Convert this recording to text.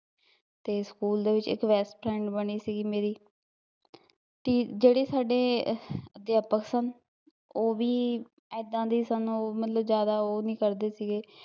ਤੇ ਸਕੂਲ ਦੇ ਵਿੱਚ ਇੱਕ best friend ਬਣੀ ਸੀਗੀ ਮੇਰੀ ਤੇ ਜਿਹੜੀ ਸਾਡੇ ਅਧਿਆਪਕ ਸਨ ਓਹ ਵੀ, ਏਦਾ ਦੇ ਈ ਸਨ, ਓਹ ਮਤਲਬ ਜ਼ਿਆਦਾ ਓਹ ਨੀ ਕਰਦੇ ਸੀਗੇ